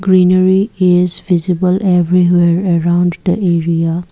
Greenery is visible everywhere around the area.